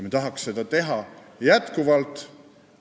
Me tahaksime seda teha jätkuvalt.